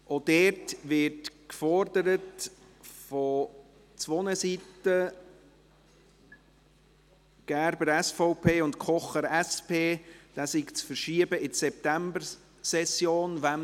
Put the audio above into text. Auch hier wird von zwei Seiten gefordert – Gerber, SVP, und Kocher, SP –, dies sei in die Septembersession zu verschieben.